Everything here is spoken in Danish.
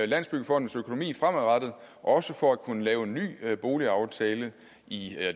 landsbyggefondens økonomi fremadrettet også for at kunne lave en ny boligaftale i